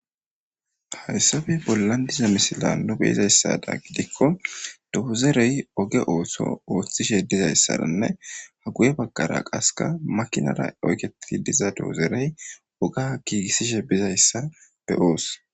Haysape bolan de'iza misilen nuni be'izasato gidiko doozere oge ooso oothishe dizaysane guye bagara kaseka makinara oykethidi diza doozerey oga giigisishe dizaysa be'os.